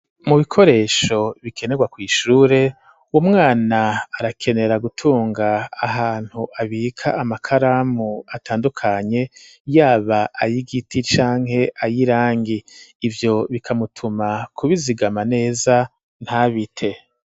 Mu bikoresho bikenerwa kw'ishure umwana arakenera gutunga ahantu abika amakaramu atandukanye yaba ayigiti canke ayirangi ivyo bikamutuma kubizigama neza ntabite